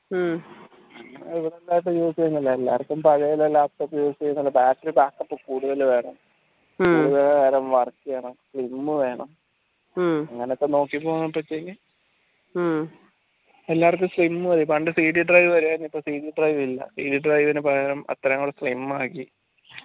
എല്ലാർക്കും sim മതി പണ്ട് cd drive വരുവായിരുന്നു ഇപ്പോ cd drive ഇല്ല cd drive ന് പകരം അത്രയും കൂട slim ആക്കി